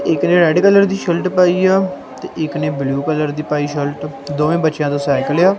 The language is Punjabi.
ਇੱਕ ਨੇ ਰੈੱਡ ਕਲਰ ਦੀ ਸ਼ਰਟ ਪਾਈ ਆ ਤੇ ਇੱਕ ਨੇਂ ਬਲੂ ਕਲਰ ਦੀ ਪਾਈ ਸ਼ਰਟ ਦੋਵੇਂ ਬਚੇਆਂ ਤੇ ਸਾਈਕਲ ਆ।